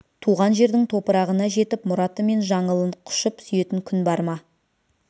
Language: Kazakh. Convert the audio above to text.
туған жердің топырағына жетіп мұраты мен жаңылын құшып сүйетін күн бар ма